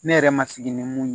Ne yɛrɛ ma sigi ni mun ye